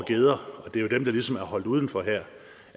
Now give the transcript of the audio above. geder og det er jo dem der ligesom er holdt uden for det